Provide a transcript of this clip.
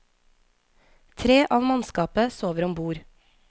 Tre av mannskapet sover om bord.